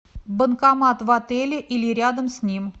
банкомат в отеле или рядом с ним